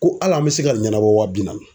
Ko al'an bɛ se ka ɲɛnabɔ wa bi naani.